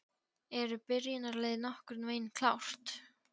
Eru byrjunarliðið nokkurn veginn klárt?